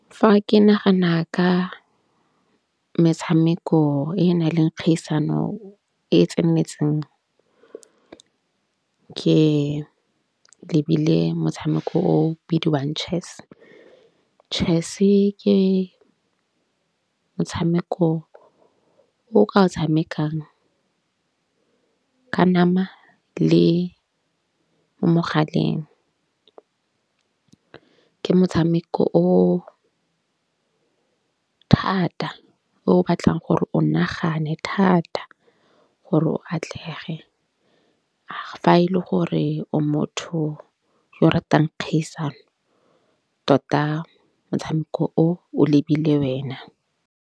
Fa ke nagana ka metshameko e na leng kgaisano e tseneletseng ke lebile motshameko o bidiwang chess. Chess-e ke motshameko o ka tshamekang ka nama le mogaleng. Ke motshameko o thata o batlang gore o nagane thata gore o atlege. Fa e le gore o motho yo ratang kgaisano tota motshameko o o lebile wena.